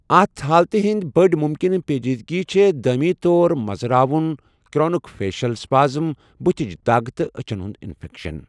اَتھ حالتہِ ہِنٛد بٔڑۍ مُمکِنہٕ پیٛچیدگیٚ چھِ دٲمِی طور مزٕ راوُن، کرونِک فیشل سپازم، بٔتھِچ دَگ تہٕ أچھن ہُنٛد انفیکشن۔